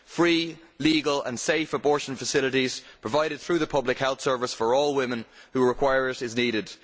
Free, legal and safe abortion facilities provided through the public health service for all women who require them are needed.